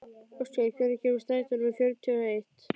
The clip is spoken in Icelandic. Óskar, hvenær kemur strætó númer fjörutíu og eitt?